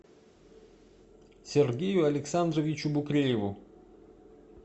сергею александровичу букрееву